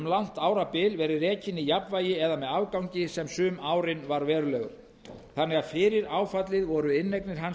langt árabil verið rekinn í jafnvægi eða með afgangi sem sum árin var verulegur þannig að fyrir áfallið voru inneignir hans